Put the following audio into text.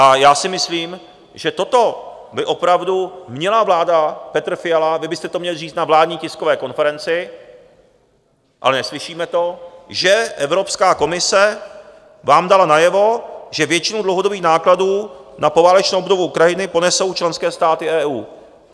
A já si myslím, že toto by opravdu měla vláda, Petr Fiala, vy byste to měli říct na vládní tiskové konferenci, ale neslyšíme to, že Evropská komise vám dala najevo, že většinu dlouhodobých nákladů na poválečnou obnovu Ukrajiny ponesou členské státy EU.